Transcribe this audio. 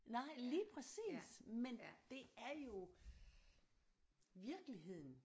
Nej lige præcis men det er jo virkeligheden